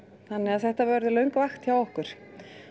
þannig að þetta verður löng vakt hjá okkur